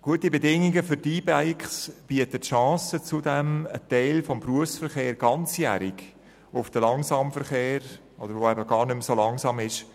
Gute Bedingungen für die E-Bikes bieten zudem die Chance, einen Teil des Berufsverkehrs ganzjährig auf den Langsamverkehr zu verlagern, der eben gar nicht mehr so langsam ist.